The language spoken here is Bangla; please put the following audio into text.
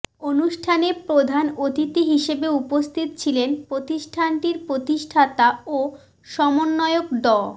অনুষ্ঠানে প্রধান অতিথি হিসেবে উপস্থিত ছিলেন প্রতিষ্ঠানটির প্রতিষ্ঠাতা ও সমন্বয়ক ড